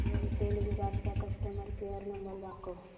Airtel Virar चा customer care number दाखव